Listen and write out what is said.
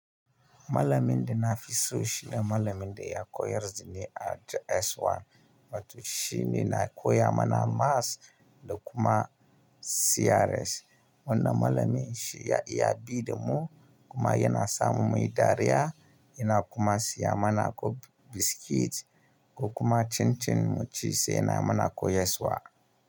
Malamin da na fi so shine malamin da ya koyar da ni a JSS 1. Wato shi ne na koya mana maths da kuma CRS. Wannan malamin shi ya iya bi da mu kuma yana sa mu muyi dariya. Yana kuma siya mana ko biskit ko kuma chin chin mu ci sai yana mana koyarwa.